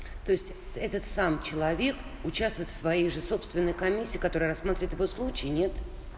то есть этот сам человек участвует в своей же собственной комиссии которая рассмотривает его случай нет